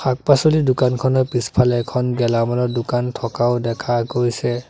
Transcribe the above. শাক-পাছলিৰ দোকানখনৰ পিছফাল এখন গেলা মালৰ দোকান থকাও দেখা পোৱা গৈছে।